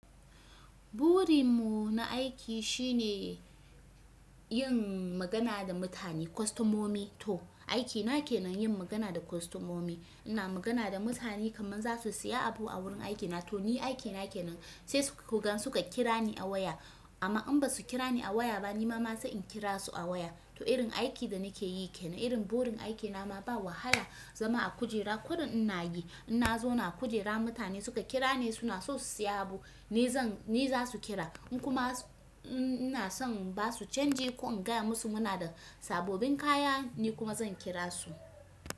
Burin mu na aiki shine yin magana da mutane kostomomi. To, aiki na kenan yin magana da kostomomi. Ina magana da mutane kamar za su siya abu a wurin aiki na. To ni aiki na ke nan. Sai, to idan suka kira ni a waya amma in ba su kira ni a waya ba, ni ma ma sa in kira su a waya. To irin aiki da nake yi kenan, irin burin aiki na ma ba wahala zama a kujera. Kurin ina yi, ina zauna kujera mutane suka kira ni suna so su siya abu, ni zan, ni za su kira. Kuma ina son ba su canji ko in gaya musu muna da sabobin kaya, ni kuma zan kira su.